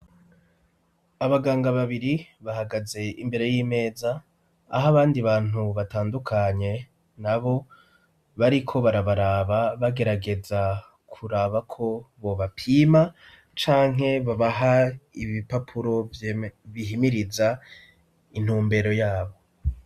Abaganga babiri bahagaze imbere y'imeza ah'abandi bantu batandukanye na bo bariko barabaraba bagerageza kuraba ko bobapima canke babaha ibipapuro bihimiriza intumbero yabo.